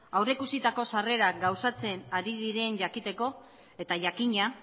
aurrikusitako sarrerak gauzatzen ari diren jakiteko eta jakina